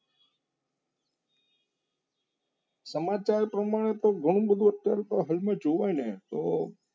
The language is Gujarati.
સમાચાર પ્રમાણે તો કામ હતું જુઓ ને તો